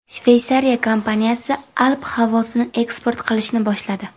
Shveysariya kompaniyasi alp havosini eksport qilishni boshladi.